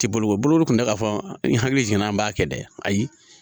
Ti boloko bolo kun tɛ k'a fɔ n hakili jiginna an b'a kɛ dɛ ayi